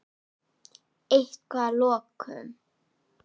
Eitthvað lokum?